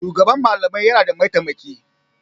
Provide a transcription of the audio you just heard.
Shugaban malamai yana da mataimaki.